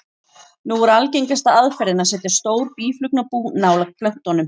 Nú er algengasta aðferðin að setja stór býflugnabú nálægt plöntunum.